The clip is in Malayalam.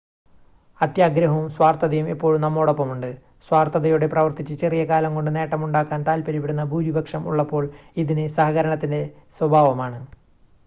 അത്യാഗ്രഹവും സ്വാർത്ഥതയും എപ്പോഴും നമ്മോടൊപ്പമുണ്ട് സ്വാർത്ഥതയോടെ പ്രവർത്തിച്ച് ചെറിയ കാലം കൊണ്ട് നേട്ടമുണ്ടാക്കാൻ താൽപ്പര്യപ്പെടുന്ന ഭൂരിപക്ഷം ഉള്ളപ്പോൾ ഇതിന് സഹകരണത്തിൻ്റെ സ്വഭാവമാണ്